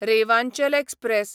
Rewanchal express